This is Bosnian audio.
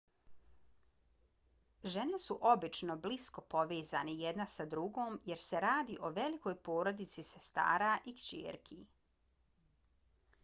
žene su obično blisko povezane jedna sa drugom jer se radi o velikoj porodici sestara i kćerki